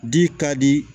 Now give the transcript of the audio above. Di ka di